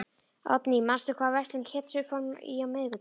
Oddný, manstu hvað verslunin hét sem við fórum í á miðvikudaginn?